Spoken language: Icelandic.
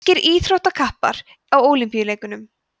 grískir íþróttakappar á ólympíuleikunum